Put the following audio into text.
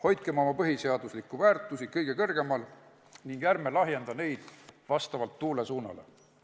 Hoidkem oma põhiseaduslikke väärtusi kõige kõrgemal ning ärme lahjendame neid vastavalt tuule suunale!